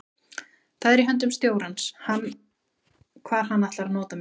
Það er í höndum stjórans hvar hann ætlar að nota mig.